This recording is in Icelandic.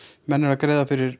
menn eru að greiða fyrir